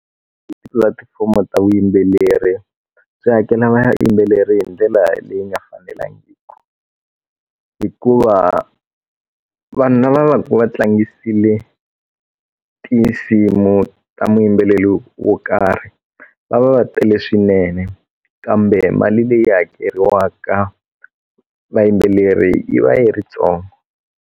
Tipulatifomo ta vuyimbeleri swi hakela vayimbeleri hi ndlela leyi nga fanelangiku hikuva vanhu na va va va tlangisile tinsimu ta muyimbeleli wo karhi va va va tele swinene kambe mali leyi hakeriwaka vayimbeleri yi va yi ri tsongo.